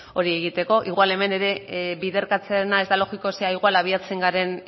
hori egiteko igual hemen ere biderkatzearena ez da logikoa ze agian abiatzen garen